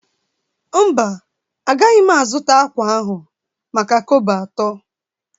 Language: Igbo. Mba, agaghị m azụta ákwà ahụ maka kobo atọ